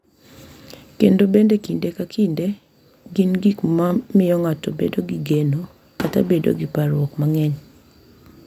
Kendo bende kinde ka kinde gin gik ma miyo ng’ato bedo gi geno kata bedo gi parruok mang’eny.